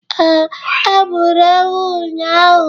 Ee, e gburu ewu ụnyahụ